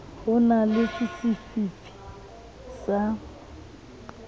ho na le sefifi sa